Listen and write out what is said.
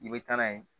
I bɛ taa n'a ye